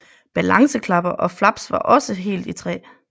Balanceklapper og flaps var også helt i træ